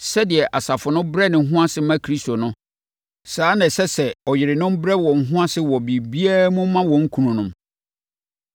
Sɛdeɛ asafo no brɛ ne ho ase ma Kristo no, saa ara na ɛsɛ sɛ ɔyerenom brɛ wɔn ho ase wɔ biribiara mu ma wɔn kununom.